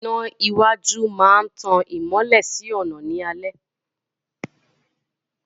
Iná iwájú máa ń tan ìmọ́lẹ̀ sí ọ̀nà ní alẹ́